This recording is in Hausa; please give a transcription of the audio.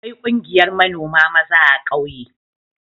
Akwai ƙungiyar manoma maza a ƙauye.